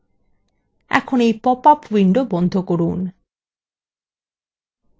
এখন এই popup window বন্ধ করুন